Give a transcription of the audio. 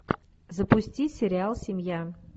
запусти сериал семья